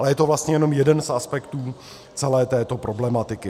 Ale je to vlastně jenom jeden z aspektů celé této problematiky.